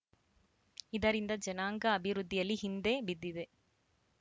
ಇದರಿಂದ ಜನಾಂಗ ಅಭಿವೃದ್ಧಿಯಲ್ಲಿ ಹಿಂದೆ ಬಿದಿದೆ